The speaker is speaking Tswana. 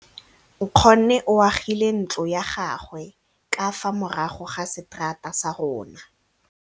Nkgonne o agile ntlo ya gagwe ka fa morago ga seterata sa rona.